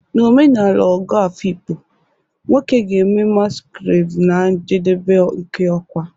N'omenala ogo Afikpo, nwoke ga-eme masquerade na njedebe nke ọkwa